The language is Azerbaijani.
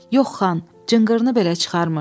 Yox xan, cınqırını belə çıxarmır.